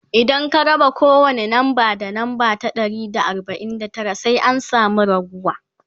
idan ka raba kowani namba da namba ta Dari da arbain da Tara sai an samu raguwa